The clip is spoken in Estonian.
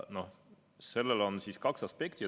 Ja sellel on kaks aspekti.